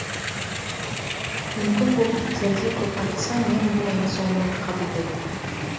мүмкін болып кетердей қопарылса мен болайын соныңды қабылдайтын